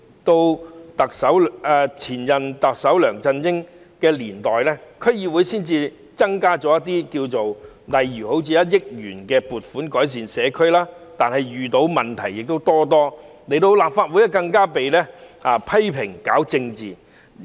到前任特首梁振英的年代，區議會才增加一點撥款，例如獲1億元撥款改善社區，但遇到問題多多，來到立法會更被批評是搞政治。